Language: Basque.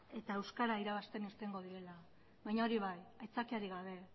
eta euskara irabazten irtengo direla baina hori bai aitzakiarik gabe